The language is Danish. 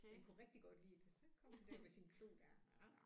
Den kunne rigtig godt lide det så kom den der med sin klo der